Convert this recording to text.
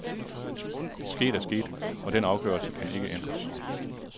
Sket er sket, og den afgørelse kan ikke ændres.